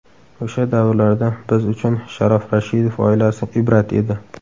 O‘sha davrlarda biz uchun Sharof Rashidov oilasi ibrat edi.